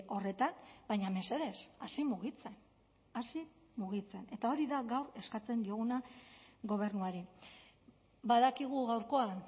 horretan baina mesedez hasi mugitzen hasi mugitzen eta hori da gaur eskatzen dioguna gobernuari badakigu gaurkoan